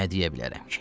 Nə deyə bilərəm ki?